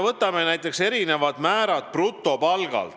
Võtame näiteks erinevad maksumäärad brutopalgalt.